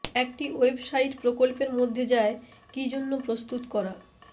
একটি ওয়েবসাইট প্রকল্পের মধ্যে যায় কি জন্য প্রস্তুত করা